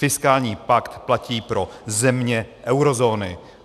Fiskální pakt platí pro země eurozóny.